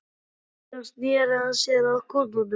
Síðan sneri hann sér að kúnnunum.